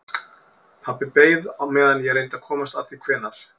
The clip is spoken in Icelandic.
Pabbi beið á meðan ég reyndi að komast að því hvenær